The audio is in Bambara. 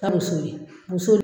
Ka muso ɲini, muso dun